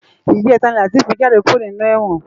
Ijètá ni Lateef jàdé kúró ninú èwòn